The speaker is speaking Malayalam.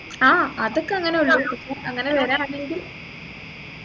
ആ അതൊക്കെ അങ്ങനെ ഉള്ളു ഇപ്പോ അങ്ങനെ വരാണെങ്കിൽ